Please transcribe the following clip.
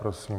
Prosím.